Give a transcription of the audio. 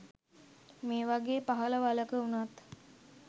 මේ වගේ පහළ වළක වුණත්